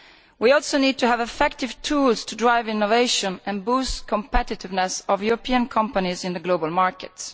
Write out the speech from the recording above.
We also need to have effective tools to drive innovation and boost the competitiveness of European companies in global markets.